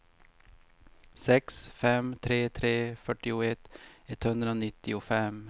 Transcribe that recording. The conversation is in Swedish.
sex fem tre tre fyrtioett etthundranittiofem